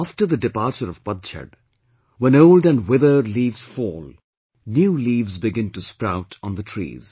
After the departure of PATJHAD, when old and withered leaves fall, new leaves begin to sprout on the trees